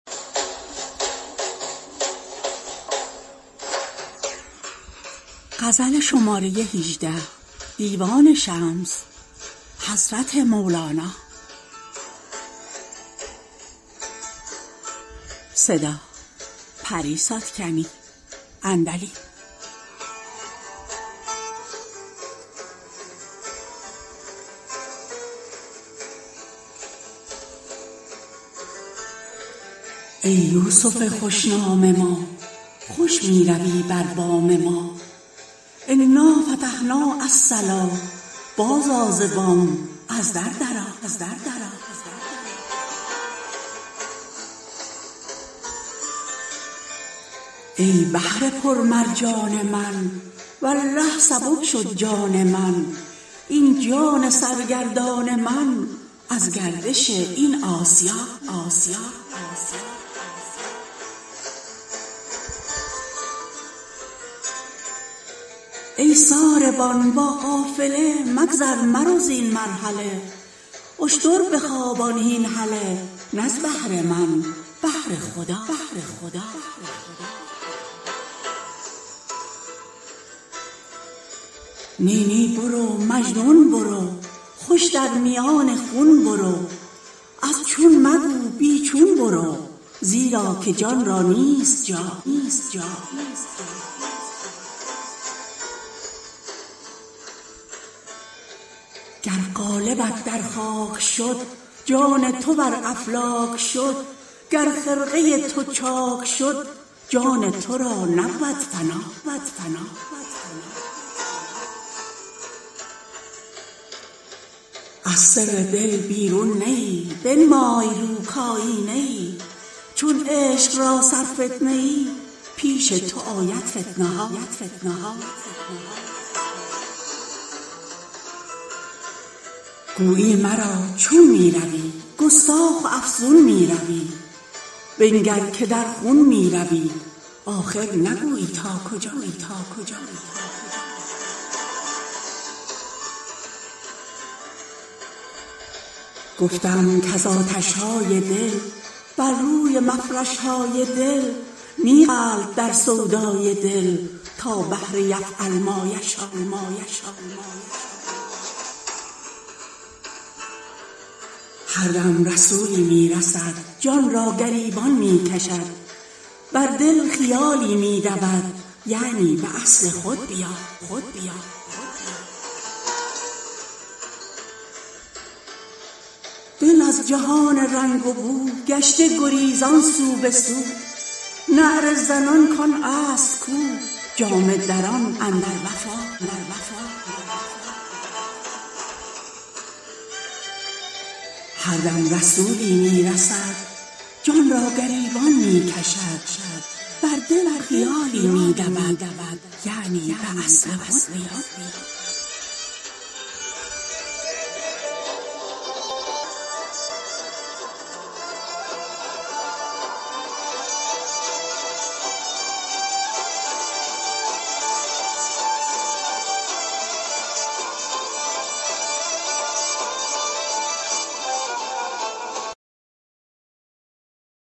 ای یوسف خوش نام ما خوش می روی بر بام ما انا فتحنا الصلا بازآ ز بام از در درآ ای بحر پرمرجان من والله سبک شد جان من این جان سرگردان من از گردش این آسیا ای ساربان با قافله مگذر مرو زین مرحله اشتر بخوابان هین هله نه از بهر من بهر خدا نی نی برو مجنون برو خوش در میان خون برو از چون مگو بی چون برو زیرا که جان را نیست جا گر قالبت در خاک شد جان تو بر افلاک شد گر خرقه تو چاک شد جان تو را نبود فنا از سر دل بیرون نه ای بنمای رو کایینه ای چون عشق را سرفتنه ای پیش تو آید فتنه ها گویی مرا چون می روی گستاخ و افزون می روی بنگر که در خون می روی آخر نگویی تا کجا گفتم کز آتش های دل بر روی مفرش های دل می غلط در سودای دل تا بحر یفعل ما یشا هر دم رسولی می رسد جان را گریبان می کشد بر دل خیالی می دود یعنی به اصل خود بیا دل از جهان رنگ و بو گشته گریزان سو به سو نعره زنان کان اصل کو جامه دران اندر وفا